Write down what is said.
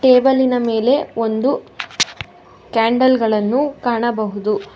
Table ಇನ ಮೇಲೆ ಒಂದು ಕ್ಯಾಂಡಲ್ ಗಳನ್ನು ಕಾಣಬಹುದು.